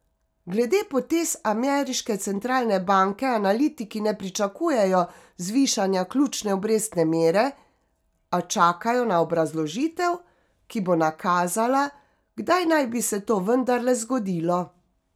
Glede potez ameriške centralne banke analitiki ne pričakujejo zvišanja ključne obrestne mere, a čakajo na obrazložitev, ki bo nakazala, kdaj naj bi se to vendarle zgodilo.